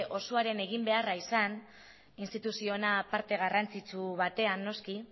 osoaren egin beharra izan instituzio ona parte garrantzitsu batean noski